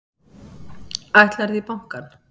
Ætlarðu í bankann?